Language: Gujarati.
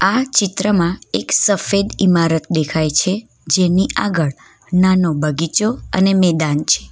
આ ચિત્રમાં એક સફેદ ઈમારત દેખાય છે જેની આગળ નાનો બગીચો અને મેદાન છે.